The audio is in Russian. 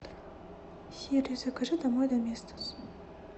сири закажи домой доместос